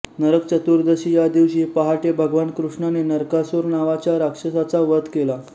नरकचतुर्दशी या दिवशी पहाटे भगवान कृष्णाने नरकासुर नावाच्या राक्षसाचा वध केला